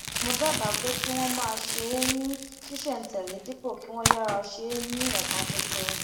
mo dábàá pé kí wón máa ṣe é ní ṣísèntèlé dípò kí wón yára ṣe é ní ẹẹkan ṣoṣo